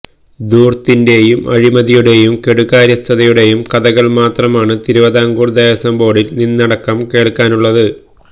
ധൂർത്തിന്റെയും അഴിമതിയുടെയും കെടുകാര്യസ്ഥതയുടെയും കഥകൾ മാത്രമാണ് തിരുവിതാംകൂർ ദേവസ്വംബോർഡിൽ നിന്നടക്കം കേൾക്കാനുള്ളത്